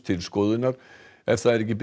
til skoðunar ef það er ekki